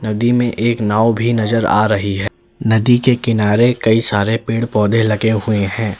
नदी में एक नाव भी नजर आ रही है नदी के किनारे कई सारे पेड़ पौधे लगे हुए है।